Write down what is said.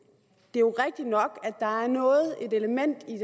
jo rigtigt nok at der er noget et element i